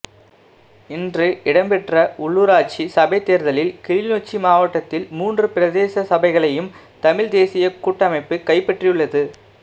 இன்று இடம்பெற்ற உள்ளுராட்சி சபைத்தேர்தலில் கிளிநொச்சி மாவட்டத்தில் மூன்று பிரதேச சபைகளையும் தமிழ்த்தேசியக் கூட்டமைப்பு கைப்பற்றியுள்ளது